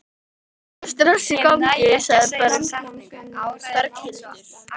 Berghildur: Eitthvað stress í gangi?